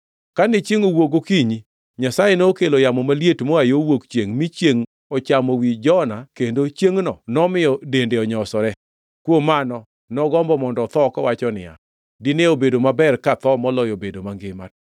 Kane chiengʼ owuok gokinyi, Nyasaye nokelo yamo maliet moa yo wuok chiengʼ, mi chiengʼ ochamo wi Jona, kendo chiengʼno nomiyo dende onyosore. Kuom mano, nogombo mondo otho, kowacho niya, “Dine obedo maber katho moloyo bedo mangima.”